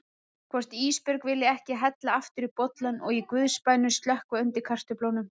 Hvort Ísbjörg vilji ekki hella aftur í bollann og í guðs bænum slökkva undir kartöflunum.